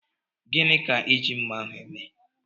Gịnị ka iji mmá ahụ eme?